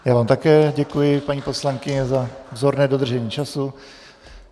Já vám také děkuji, paní poslankyně, za vzorné dodržení času.